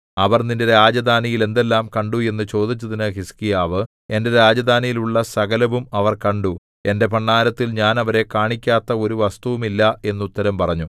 അവർ നിന്റെ രാജധാനിയിൽ എന്തെല്ലാം കണ്ടു എന്നു ചോദിച്ചതിന് ഹിസ്കീയാവ് എന്റെ രാജധാനിയിൽ ഉള്ള സകലവും അവർ കണ്ടു എന്റെ ഭണ്ഡാരത്തിൽ ഞാൻ അവരെ കാണിക്കാത്ത ഒരു വസ്തുവും ഇല്ല എന്ന് ഉത്തരം പറഞ്ഞു